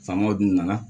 Faamaw dun nana